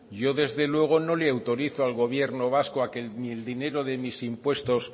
yo desde luego no le autorizo al gobierno vasco a que ni el dinero de mis impuestos